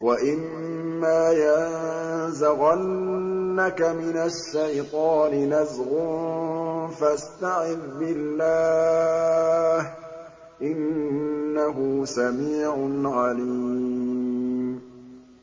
وَإِمَّا يَنزَغَنَّكَ مِنَ الشَّيْطَانِ نَزْغٌ فَاسْتَعِذْ بِاللَّهِ ۚ إِنَّهُ سَمِيعٌ عَلِيمٌ